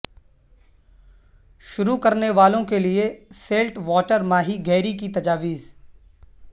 شروع کرنے والوں کے لئے سیلٹ واٹر ماہی گیری کی تجاویز